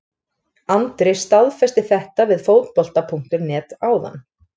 Andri staðfesti þetta við Fótbolta.net áðan.